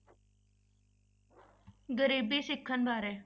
ਗਰੀਬੀ ਸਿੱਖਣ ਬਾਰੇ।